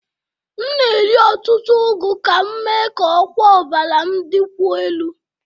M na-eri ọtụtụ ugu ka m mee ka ọkwa ọbara m dịkwuo elu